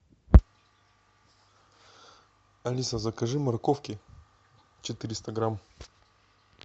алиса закажи морковки четыреста грамм